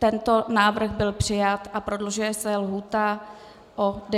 Tento návrh byl přijat a prodlužuje se lhůta o 90 dnů.